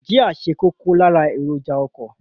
Jia ṣe kókó lára èròjà ọkọ.